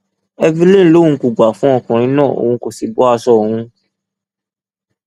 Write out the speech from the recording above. evelyn lòun kò gbà fún ọkùnrin náà òun kó sì bọ aṣọ òun